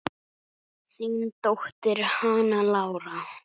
Þín dóttir, Hanna Lára.